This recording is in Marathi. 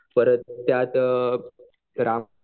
परत त्यात